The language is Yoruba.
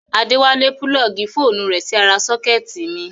Adéwálé púlọ́ọ̀gì fóònù rẹ̀ sí ara sọ́kẹ́tì mi